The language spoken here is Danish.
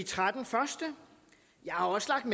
har